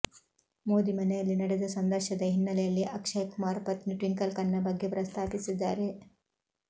ಮೋದಿ ಮನೆಯಲ್ಲಿ ನಡೆದ ಸಂದರ್ಶನದ ಹಿನ್ನೆಲೆಯಲ್ಲಿ ಅಕ್ಷಯ್ ಕುಮಾರ್ ಪತ್ನಿ ಟ್ವಿಂಕಲ್ ಖನ್ನಾ ಬಗ್ಗೆ ಪ್ರಸ್ತಾಪಿಸಿದ್ದಾರೆ